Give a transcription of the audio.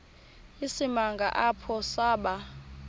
isimanga apho saba